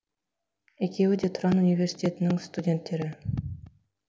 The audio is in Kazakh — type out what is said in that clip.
екеуі де тұран университетінің студенттері